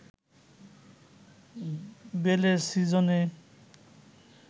বেলের সিজনে